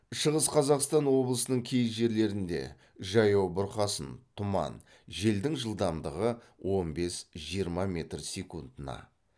шығыс қазақстан облысының кей жерлерінде жаяу бұрқасын тұман желдің жылдамдығы он бес жиырма метр секундына